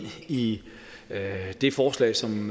i det forslag som